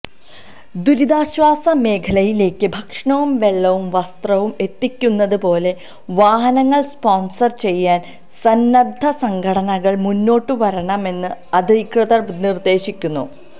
ദുരിതാശ്വാസ മേഖലയിലേക്ക് ഭക്ഷണവും വെള്ളവും വസ്ത്രവും എത്തിക്കുന്നത് പോലെ വാഹനങ്ങള് സ്പോണ്സര് ചെയ്യാന് സന്നദ്ധസംഘടനകള് മുന്നോട്ട് വരണമെന്ന് അധികൃതര് നിര്ദേശിക്കുന്നു